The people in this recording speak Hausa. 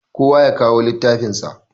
Kowa yakawo littafin sa.